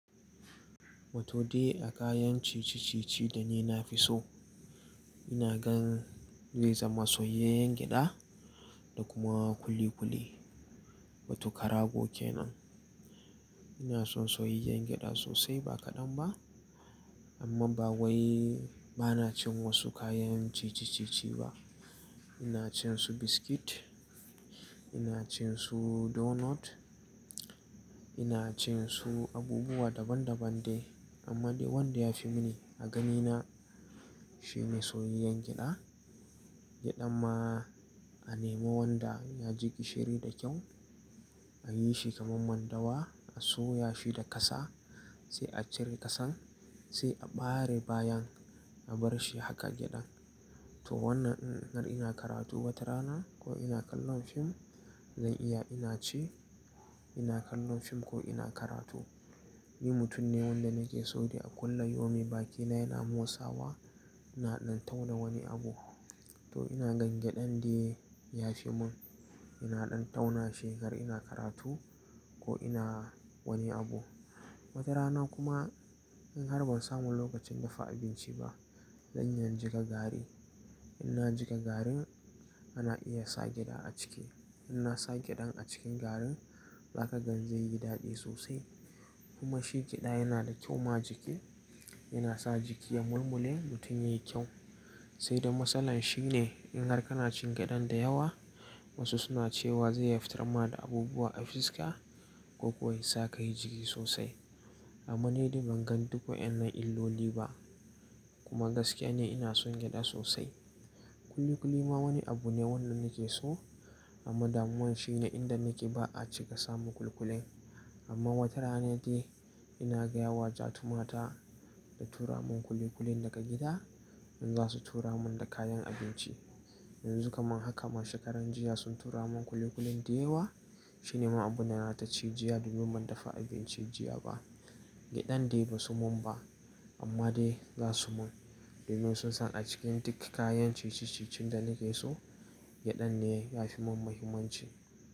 Wato dai a kayan cici-cici da ni na fi so, ina gan zai zama soyayyen gyada da kuma kuli-kuli. Wato karago kenan. Ina son soyayyen gyada sosai ba kaɗan ba, amman ba wai ba na cin wasu kayan cici-cici ba. Ina cin su biskit, ina cin su donut, ina cin su abubuwa daban-daban dai. Amma dai wanda ya fi mini a ganina shine soyayyen gyada. Gyadan ma a nemi wanda ya ji gishiri da kyau, a yi shi kaman mandawa, a soya shi da ƙasa, sai a cire ƙasan, sai a ɓare bayan a bar shi haka gyada. To wannan in har ina karatu wata rana ko ina kallon fim, zan iya ina ci ina kallon fim ko ina karatu. Ni mutum ne wanda nake so dai a kulla yomi bakina yana motsawa, ina ɗan tauna wani abu. To ina gan gyadan dai ya fi mun. Ina ɗan tauna shekar ina karatu ko ina wani abu. Wata rana kuma in har ban samu lokacin dafa abinci ba, zan iya in jika gari. In na jika garin, ana iya sa gyada a ciki. In na sa gyadan a cikin garin, za ka gan zai yi daɗi sosai. Kuma shi gyada yana da kyau ma jiki, yana sa jiki ya mulmule mutum yayi kyau. Sai dai matsalan shi ne in har kana cin gyadan da yawa, wasu suna cewa zai iya fitar ma da abubuwa a fiska ko kuwa ya sa kayi jiki sosai. Amma ni dai ban gan duk wa'inan illoli ba. Kuma gaskiya ne ina son gyada sosai. Kuli-kuli ma wani abu ne wannan nake so, amma damuwan shi ne inda nake ba a cika samu kuli-kuli. Amma wata rana dai ina gaya wa ja tu mata ta tura mun kuli-kulin daga gida in za su tura mun da kayan abinci. Yanzu kaman haka ma shekaran jiya sun tura mun kuli-kulin da yawa. Shi ne ma abun da na taci jiya domin ban dafa abinci jiya ba. Gyadan dai ba su mun ba, amma dai za su mun. Domin sun san a cikin duk kayan cici-cicin da nake so, gyadan ne ya fi mun muhimmanci.